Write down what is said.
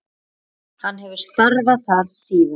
Hann hefur starfað þar síðan.